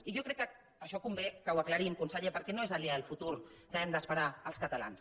i jo crec que això convé que ho aclarim conseller perquè no és aliè al futur que hem d’esperar els catalans